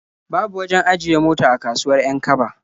Babu wajen ajiye mota a kasuwar 'Yan-kaba.